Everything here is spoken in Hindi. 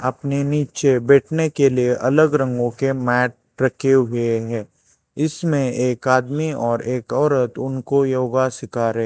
अपने नीचे बैठने के लिए अलग रंगो के मैट रखे हुए हैं इसमें एक आदमी और एक औरत उनको योगा सीखा रहे--